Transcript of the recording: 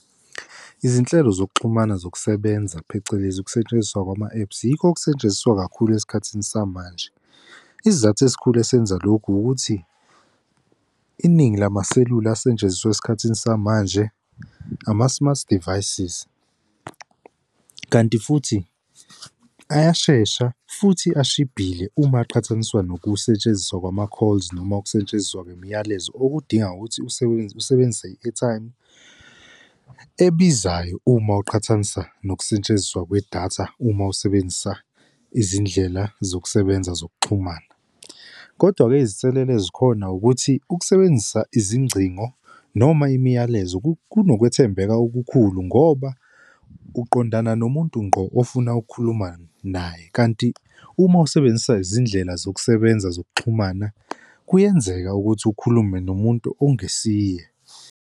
Izinhlelo zokuxhumana zokusebenza phecelezi ukusetshenziswa kwama-apps yikho okusetshenziswa kakhulu esikhathini samanje. Isizathu esikhulu esenza lokhu ukuthi iningi lamaselula asetshenziswa esikhathini samanje, ama-smart devices, kanti futhi ayashesha futhi ashibhile uma aqhathaniswa nokusetshenziswa kwama-calls noma ukusetshenziswa kwemiyalezo okudinga ukuthi usebenzise i-airtime ebizayo uma uqhathanisa nokusetshenziswa kwedatha uma usebenzisa izindlela zokusebenza zokuxhumana. Kodwa-ke, izinselele ezikhona ukuthi ukusebenzisa izingcingo noma imiyalezo kunokwethembela okukhulu ngoba uqondana nomuntu ngqo ofuna ukukhuluma naye. Kanti uma usebenzisa izindlela zokusebenza zokuxhumana, kuyenzeka ukuthi ukhulume nomuntu ongesiye.